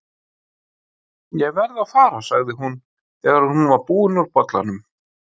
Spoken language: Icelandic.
Ég verð að fara, sagði hún þegar hún var búin úr bollanum.